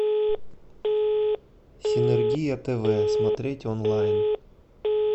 синергия тв смотреть онлайн